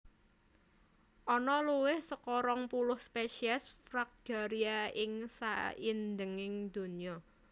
Ana luwih saka rong puluh spesies Fragaria ing saindhenging donya